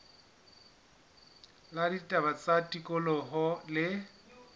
la ditaba tsa tikoloho le